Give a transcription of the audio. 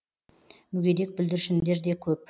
мүгедек бүлдіршіндер де көп